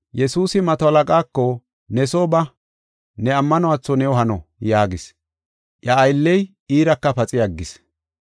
Yesuusi mato halaqaako, “Ne soo ba, ne ammanuwatho new hano” yaagis. Iya aylley iiraka paxi aggis.